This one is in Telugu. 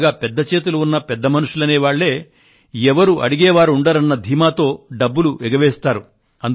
బాగా పెద్ద చేతులు ఉన్న పెద్ద మనుషులు అనే వాళ్ళే ఎవరూ అడిగే వారుండరన్న ధీమాతో డబ్బులు ఎగవేస్తారు